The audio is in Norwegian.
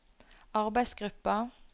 arbeidsgruppa